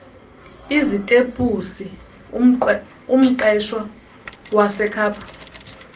izitepusi umqeshwa wasekhapha